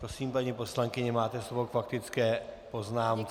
Prosím, paní poslankyně, máte slovo k faktické poznámce.